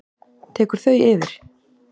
tekur þau yfir?